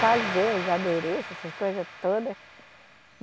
Fazer os adereços, essas coisas todas.